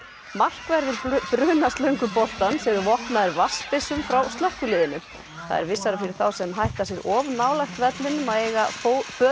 markverðir eru vopnaðir frá slökkviliðinu það er vissara fyrir þá sem hætta sér of nálægt vellinum að eiga föt